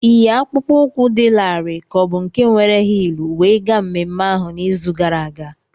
Ịyi akpụkpọ ụkwụ dị larịị ka ọ bụ nke were hịịlụ wee gaa mmemme ahụ n'izu gara aga?